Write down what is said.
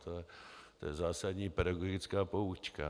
To je zásadní pedagogická poučka.